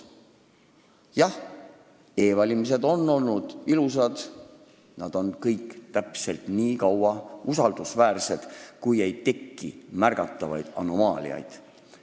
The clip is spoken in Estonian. Jah, e-valimised on olnud ilusad ja nad on usaldusväärsed täpselt nii kaua, kui ei teki märgatavaid anomaaliaid.